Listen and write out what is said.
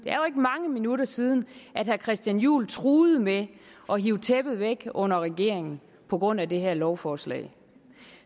er jo ikke mange minutter siden at herre christian juhl truede med at hive tæppet væk under regeringen på grund af det her lovforslag